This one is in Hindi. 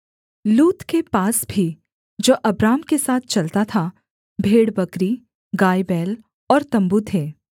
लूत के पास भी जो अब्राम के साथ चलता था भेड़बकरी गायबैल और तम्बू थे